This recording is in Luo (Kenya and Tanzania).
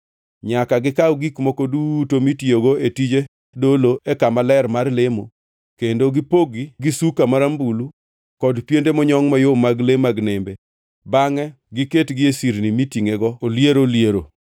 “Nyaka gikaw gik moko duto motiyogo e tij dolo e kama ler mar lemo, kendo gibogi gi suka marambulu, kod piende monyongʼ mayom mag le mag nembe, bangʼe giketgi e sirni mitingʼego oliero liero.